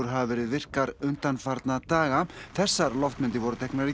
hafa verið virkar undanfarna daga þessar loftmyndir voru teknar í